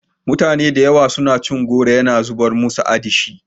Mutane da yawa suna cin goro yana zamar musu adishin.